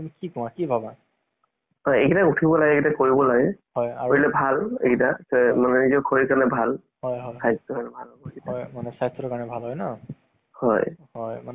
হেৰি voice quality টো ইমান ভাল নাথাকে। main problem সেইটো হে। চাবলৈ পাৰি কিন্তু mobile ত যোন টো voice recording এ হেৰি quality টো সেইটো ভাল নাহে যে।